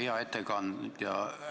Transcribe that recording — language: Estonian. Hea ettekandja!